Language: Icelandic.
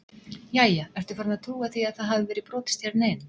Jæja, ertu farin að trúa því að það hafi verið brotist hérna inn?